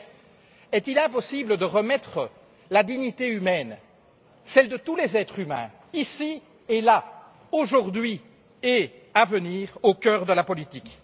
En bref, est il impossible de remettre la dignité humaine, celle de tous les êtres humains, ici et là, aujourd'hui et à venir, au cœur de la politique?